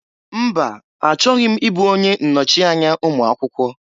Mba! Achọghị m ịbụ onye nnochianya ụmụakwụkwọ.